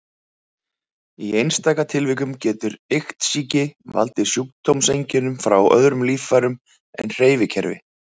Í einstaka tilvikum getur iktsýki valdið sjúkdómseinkennum frá öðrum líffærum en hreyfikerfi.